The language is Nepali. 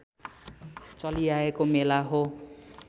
चलिआएको मेला हो